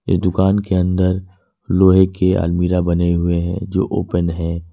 ये दुकान के अंदर लोहे के अलमीरा बने हुए हैं जो ओपन है।